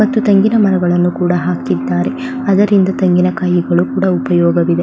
ಮತ್ತು ತೆಂಗಿನ ಮರಗಳನ್ನು ಕೂಡ ಹಾಕಿದ್ದಾರೆ ಅದರಿಂದ ತೆಂಗಿನ ಕಾಯಿಗಳು ಕೂಡ ಉಪಯೋಗವಿದೆ.